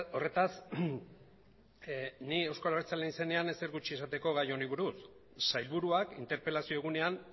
horretaz ni euzko abertzaleen izenean ezer gutxi esateko gai honi buruz sailburuak interpelazio egunean